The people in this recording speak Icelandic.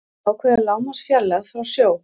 ákveða lágmarksfjarlægð frá sjó